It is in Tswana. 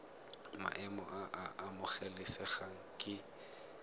maemo a a amogelesegang ke